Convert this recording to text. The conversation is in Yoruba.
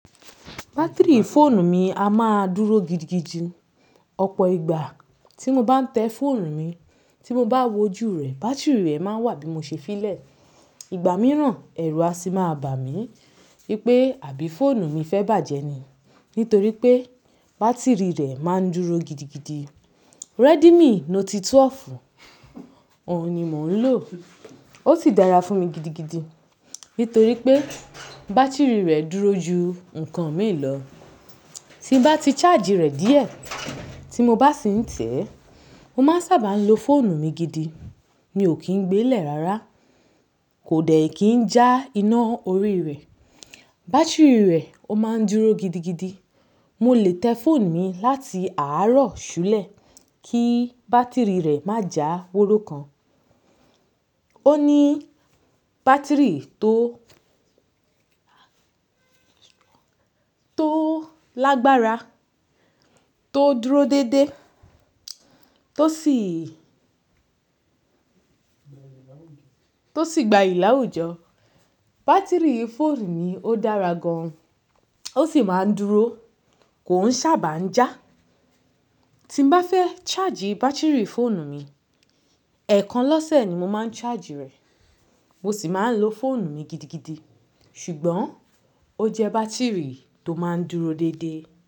Batiri fóònù mi a máa dúró gidigidi. Ọ̀pọ̀ ìgbà tí mo bá ń tẹ fóònù mi, tí mo bá wójú rẹ̀, bátírì rẹ̀ máa wà bí mo ṣe filẹ̀. Ìgbà mìíràn, ẹ̀rù á sì máa bà mí wípé àbí fóònù mi fẹ́ bàjẹ́ ni? Nítorí pé bátírì rẹ̀ máa ń dúró gidigidi. Redmi Note 12, òun ni mò ń lò. Ó sì dára fún mi gidigidi nítorí pé bátírì rẹ̀ dúró ju ǹkan míì lọ. Tí mo bá ti charge rẹ̀ díẹ̀, tí mo bá sì ń tẹ̀ẹ́, mo máa ń sábà lo fóònù mi gidi. Mi ò kí ń gbé lẹ̀ rárá, kò dẹ̀ kí ń já iná orí rẹ̀. Batiri rẹ̀ ó máa ń dúró gidigidi. Mo lè tẹ fóònù mi láti àárọ̀ súlẹ̀ kí bátírì rẹ̀ má já wòró kan. Ó ní bátírì tó, tó lágbára, tó dúró dédé, tó sì, tó sì gbayì láwùjọ. Batiri fóònù mi ó dára gan an. Ó sì máa ń dúró, kò ń sábà ń já. Tí mo bá fẹ́ charge batiri fóònù mi, ẹ̀ẹ̀kan lọ́sẹ̀ ni mo máa ń charge rẹ̀. Mo sì máa ń lo fóònù mi gidigidi. Ṣùgbọ́n ó jẹ́ bátírì tó máa ń dúró dédé.